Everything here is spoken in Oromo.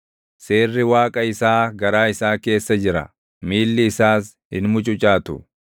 Seerri Waaqa isaa garaa isaa keessa jira; miilli isaas hin mucucaatu.